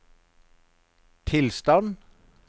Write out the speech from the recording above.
tilstand